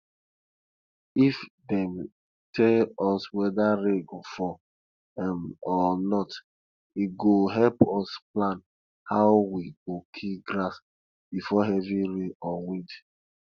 if dem tell us whether rain go fall um or not e go help us plan how we go kill grass before heavy rain or wind